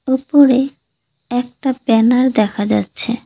উপরে একটা ব্যানার দেখা যাচ্ছে।